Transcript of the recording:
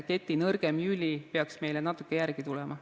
Keti nõrgim lüli peaks natuke järele tulema.